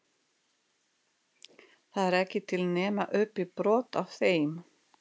Það er ekki til nema upp í brot af þeim?